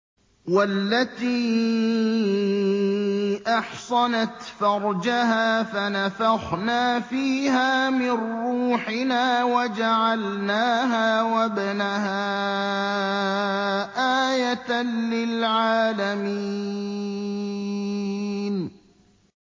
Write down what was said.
وَالَّتِي أَحْصَنَتْ فَرْجَهَا فَنَفَخْنَا فِيهَا مِن رُّوحِنَا وَجَعَلْنَاهَا وَابْنَهَا آيَةً لِّلْعَالَمِينَ